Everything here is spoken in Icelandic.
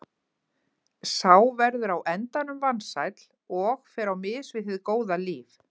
Sá verður á endanum vansæll og fer á mis við hið góða líf.